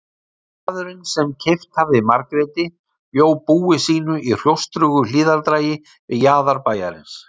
Maðurinn sem keypt hafði Margréti bjó búi sínu í hrjóstrugu hlíðardragi við jaðar bæjarins.